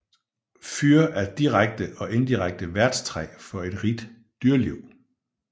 Fyr er direkte og inddirekte værtstræ for et rigt dyreliv